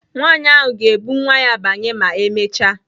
Nwanyị ahụ ga-ebu nwa ya banye ma emechaa.